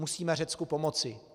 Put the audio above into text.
Musíme Řecku pomoci.